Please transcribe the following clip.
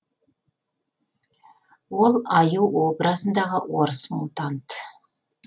ол аю образындағы орыс мутант